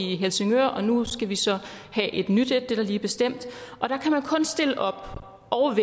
i helsingør og nu skal vi så have et nyt det er lige blevet bestemt og der kan man kun stille op og